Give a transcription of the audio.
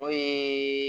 O ye